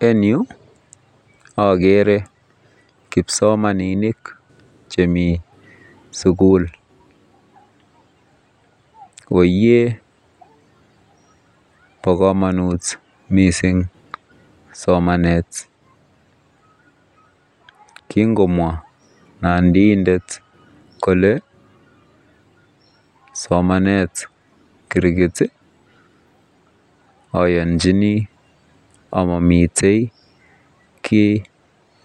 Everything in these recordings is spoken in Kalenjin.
En Yu agere kipsomaninik chemi sukul koiye ba kamanut mising somanet kingomwa nandindet Kole somanet kirkit ayanjini amimiteikit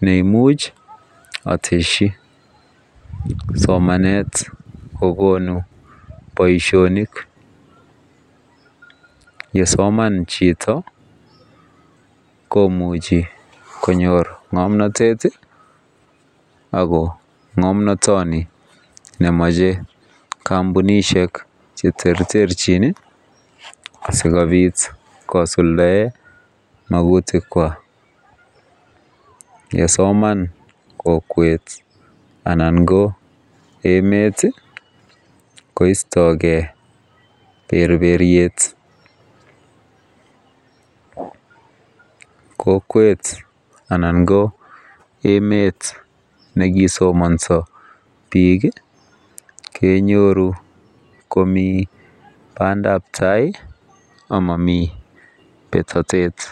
neimuche ateshi somanet kokonu Baishonik ye Soman Chito koimuchi konyor ngamnatet ako ngamnatani komache campunishek cheterterchin asikobit kosuldaen makutik chwak yesomani kokwet anan ko emet koisogei berbeyet ko kokwet anan ko emet nekisomansi bik kenyoru Komi bandab tai amami betatet